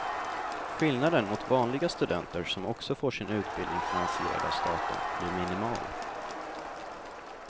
Skillnaden mot vanliga studenter som också får sin utbildning finansierad av staten blir minimal.